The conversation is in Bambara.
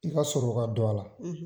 I ka sɔrɔ dɔ a la,